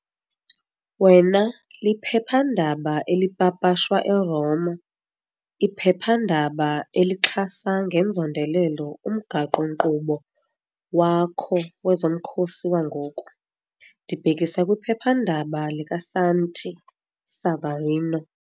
wena liphephandaba elipapashwa eRoma, iphephandaba elixhasa ngenzondelelo umgaqo-nkqubo wakho wezomkhosi wangoku, ndibhekisa kwiphephandaba likaSanti Savarino.